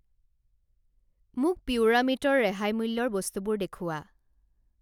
মোক পিউৰামে'টৰ ৰেহাই মূল্যৰ বস্তুবোৰ দেখুওৱা।